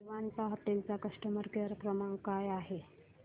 Vivanta hotel चा customer care क्रमांक काय आहे